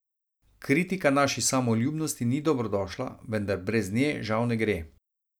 Kritika naši samoljubnosti ni dobrodošla, vendar, brez nje žal ne gre.